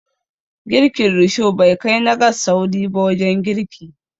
Girkin Risho bai kai na gas sauri ba wajen girki